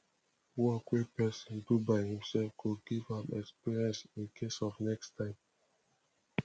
work wey pesin do by imself go give am experience incase of next time